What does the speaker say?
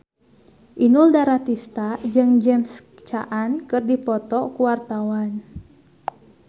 Inul Daratista jeung James Caan keur dipoto ku wartawan